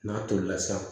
N'a tolila sa